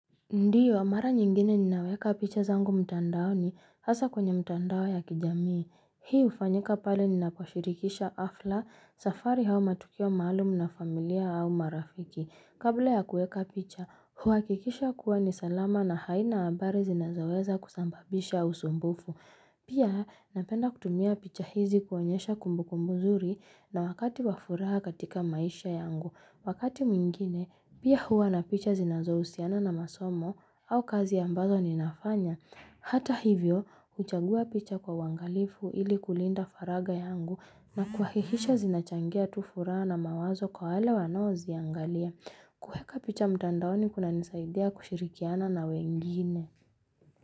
Ndiyo, mara nyingine ninaweka picha zangu mtandaoni hasa kwenye mtandao ya kijamii. Hii hufanyika pale ninapo shirikisha hafla, safari au matukio maalumu na familia au marafiki. Kabla ya kuweka picha, huwakikisha kuwa ni salama na haina habari zinazoweza kusababisha usumbufu. Pia napenda kutumia picha hizi kuonyesha kumbukumbu nzuri na wakati wa furaha katika maisha yangu. Wakati mwingine, pia huwa na picha zinazo husiana na masomo au kazi ambazo ninafanya. Hata hivyo, huchagua picha kwa uangalifu ili kulinda faragha yangu na kuhakikisha zinachangia tu furaha na mawazo kwa wale wanaoziangalia. Kuweka picha mtandaoni kunanisaidia kushirikiana na wengine.